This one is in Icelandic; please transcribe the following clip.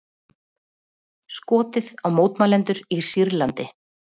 Skotið á mótmælendur í Sýrlandi